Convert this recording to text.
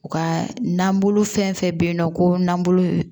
U ka nanbolo fɛn fɛn bɛ yen nɔ ko nan bolo